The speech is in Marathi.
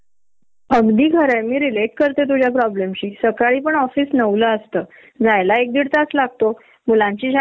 तो कश्यासाठी वापरेला नसतो आणि त्याच आउट पूट तर काहीच निघत नाही त्यामुळे तुम्हाला तो मनस्ताप वेगळा होतो